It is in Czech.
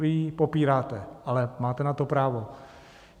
Vy ji popíráte, ale máte na to právo.